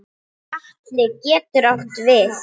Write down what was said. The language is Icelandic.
Atli getur átt við